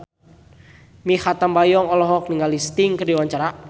Mikha Tambayong olohok ningali Sting keur diwawancara